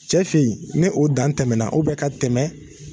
Cɛfin yen ni o dan tɛmɛna, ka tɛmɛ